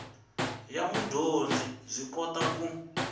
ya mudyondzi byi kota ku